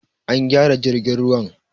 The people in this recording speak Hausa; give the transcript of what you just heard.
An gyara jirgin ruwan